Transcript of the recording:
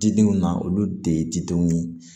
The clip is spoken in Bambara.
Didenw na olu de ye didenw ye